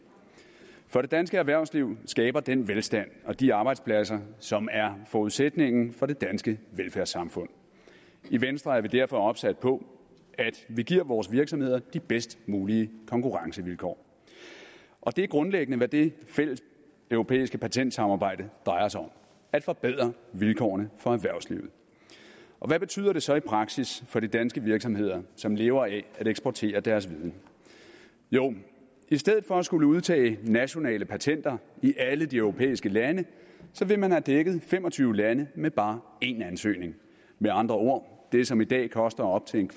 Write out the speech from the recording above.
for det danske erhvervsliv skaber den velstand og de arbejdspladser som er forudsætningen for det danske velfærdssamfund i venstre er vi derfor opsat på at vi giver vores virksomheder de bedst mulige konkurrencevilkår og det er grundlæggende hvad det fælles europæiske patentsamarbejde drejer sig om at forbedre vilkårene for erhvervslivet hvad betyder det så i praksis for de danske virksomheder som lever af at eksportere deres viden jo i stedet for at skulle udtage nationale patenter i alle de europæiske lande vil man have dækket fem og tyve lande med bare én ansøgning med andre ord det som i dag koster op til en